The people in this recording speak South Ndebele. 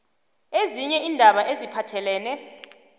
ezinye iindaba eziphathelene